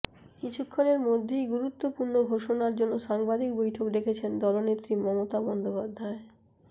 কিছুক্ষণের মধ্যেই গুরুত্বপূর্ণ ঘোষণার জন্য সাংবাদিক বৈঠক ডেকেছেন দলনেত্রী মমতা বন্দ্যোপাধ্যায়